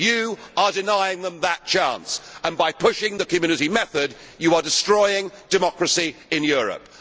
You are denying them that chance and, by pushing the Community method', you are destroying democracy in Europe.